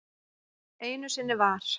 Einu sinni var.